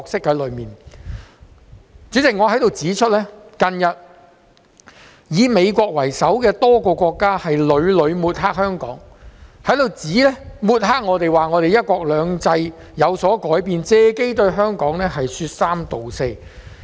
代理主席，我想在此指出，近日以美國為首的多個國家屢屢抹黑香港，指我們的"一國兩制"有所改變，借機對香港說三道四。